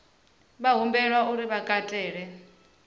vha humbelwa uri vha katele